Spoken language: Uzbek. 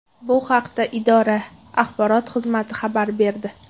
Bu haqda idora axborot xizmati xabar berdi .